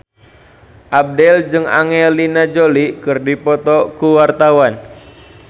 Abdel jeung Angelina Jolie keur dipoto ku wartawan